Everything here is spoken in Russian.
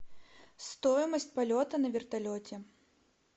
стоимость полета на вертолете